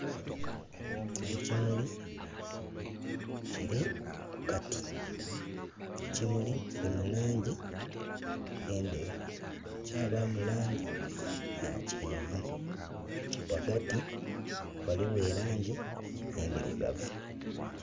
Ekimuli kili ku kati. Ekimuli kili mu laangi endheru, kya baamu laangi ya kyenvu. Ghagati ghaligho e laangi endhirugavu.